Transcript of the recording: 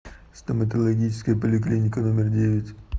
стоматологическая поликлиника номер девять